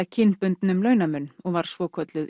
kynbundnum launamun og var svokölluð